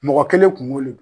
Mɔgɔ kelen kungo le